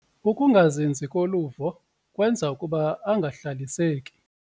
Ukungazinzi koluvo kwenza ukuba angahlaliseki.